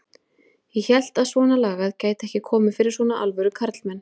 Ég hélt að svonalagað gæti ekki komið fyrir svona alvöru karlmenn.